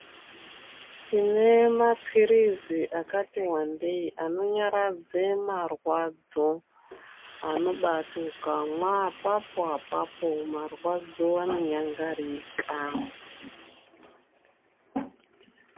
Tine mapirizi akati wandei anonyaradze marwadzo anobati ukamwa apapo apapo marwadzo anonyangarika.